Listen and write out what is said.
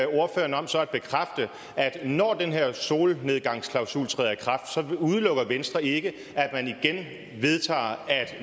ordføreren om så at bekræfte at når den her solnedgangsklausul træder i kraft så udelukker venstre ikke at man igen vedtager